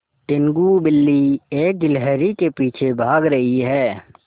टीनगु बिल्ली एक गिल्हरि के पीछे भाग रही है